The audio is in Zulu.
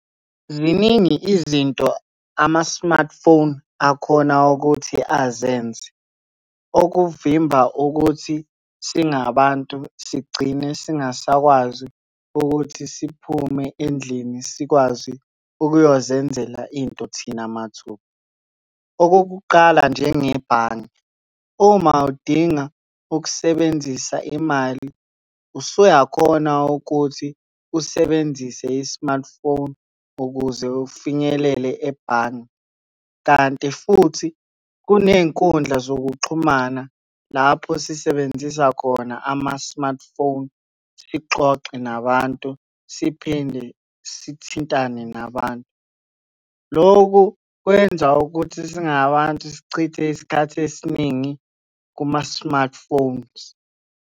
Ziningi izinto ama-smartphone akhona ukuthi azenze. Okuvimba ukuthi singabantu sigcine singasakwazi ukuthi siphume endlini sikwazi ukuyozenzela into thina mathupha. Okokuqala njengebhange, uma udinga ukusebenzisa imali, usuyakhona ukuthi usebenzise i-smartphone ukuze ufinyelele ebhange, kanti futhi kuney'nkundla zokuxhumana lapho sisebenzisa khona ama-smartphone sixoxe nabantu, siphinde sithintane nabantu. Loku, kwenza ukuthi singabantu sichithe isikhathi esiningi kuma-smartphones.